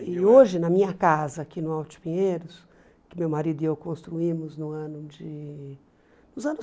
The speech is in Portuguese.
E hoje, na minha casa aqui no Alto de Pinheiros, que meu marido e eu construímos no ano de nos anos